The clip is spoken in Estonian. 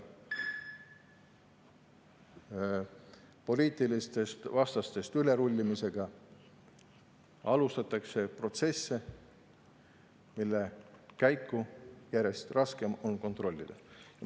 Poliitilistest vastastest ülerullimisega alustatakse protsesse, mille käiku on järjest raskem kontrollida.